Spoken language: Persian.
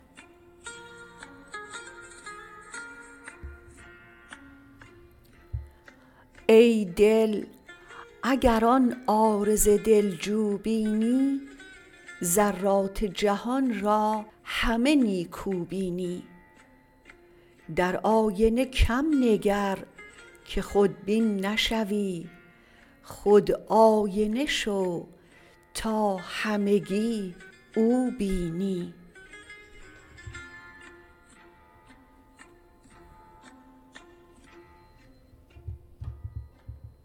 ای دل اگر آن عارض دلجو بینی ذرات جهان را همه نیکو بینی در آینه کم نگر که خودبین نشوی خود آینه شو تا همگی او بینی